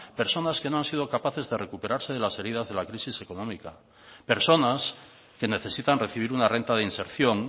personas que no han sido capaces de recuperarse de las heridas de la crisis económica personas que necesitan recibir una renta de inserción